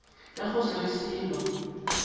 ya go se re selo